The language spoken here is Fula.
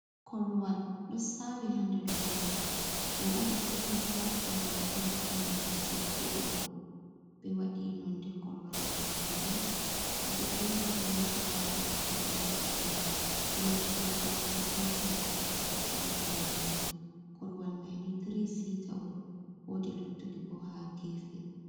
Korowal ɗo sawi ha nder leda. Ɗo on hollata korowal ɗo ɗum je choggu on. Ɓe waɗi nonde korowal mai bulu, ɓeɗo jeri piloji ha dou korowal majum. Wodi pilo orange petal ha chaka piloji majum. Korowal mai ni tiri sita on wodi luttuɗi bo ha gefe.